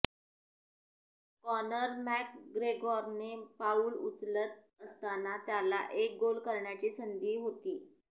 Connor मॅकग्रेगॉरने पाऊल उचलत असताना त्याला एक गोल करण्याची संधी होती